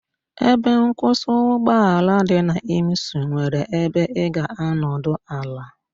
Ebe nkwụsị ụgbọ ala dị na Imsu nwere ebe ị ga-anọdụ ala.